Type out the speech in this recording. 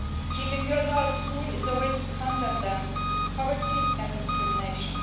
Keeping girls out of school is a way to condemn them to poverty and discrimination.